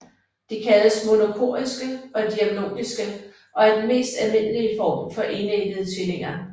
De kaldes monochoriske og diamniotiske og er den mest almindelige form for enæggede tvillinger